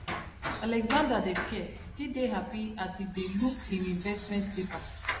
alexandra dey fear still dey happy as e dey look im investment paper